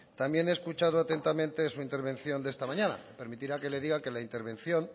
también he escuchado atentamente su intervención de esta mañana me permitirá que le diga que la intervención